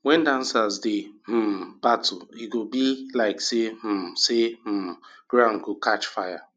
wen dancers dey um battle e go be be like um say um ground go catch fire